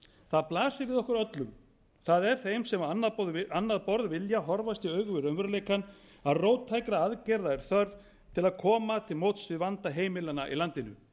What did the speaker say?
það blasir við okkur öllum það er þeim sem á annað borð vilja horfast í augu við raunveruleikann að róttækra aðgerða er þörf til að koma til móts við vanda heimilanna í landinu